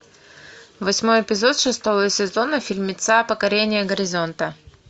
восьмой эпизод шестого сезона фильмеца покорение горизонта